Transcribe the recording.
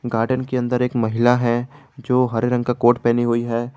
Garden के अंदर एक महिला है जो हरे रंग का कोर्ट पहनी हुई है।